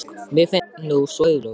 Mér finnst það nú svo augljóst.